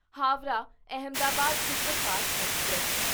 Howrah Ahmedabad superfast express